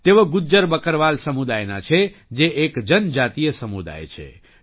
તેઓ ગુજ્જર બકરવાલ સમુદાયના છે જે એક જનજાતીય સમુદાય છે